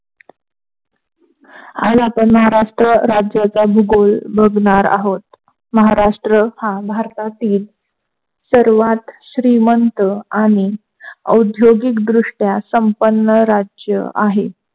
आज आपण महाराष्ट्र राज्याच्या भूगोल बघणार आहोत, महाराष्ट्र हा भारतातील सर्वात श्रीमंत आणि औद्योगिकदृष्ट्या संपन्न राज्य आहे.